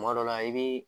Kuma dɔ la i bi